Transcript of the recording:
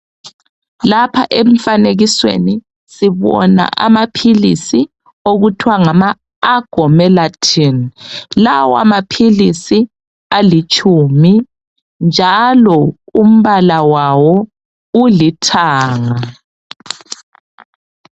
Lapha emfanekisweni sibona amaphilisi okuthiwa ngama agomelatine lawa maphilisi alitshumi njalo umpala walo ulithanga.